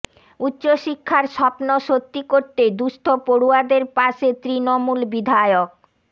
উচ্চশিক্ষার স্বপ্ন সত্যি করতে দুঃস্থ পড়ুয়াদের পাশে তৃণমূল বিধায়ক